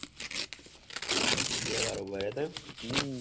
બે વાર ઉભા રહ્યા તા એમ